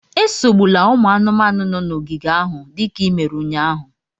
Esogbula ụmụ anụmanụ nọ n'ogige ahụ dịka i mere ụnyahụ